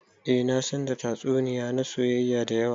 Eh na san da tatsuniya na soyayya da yawa.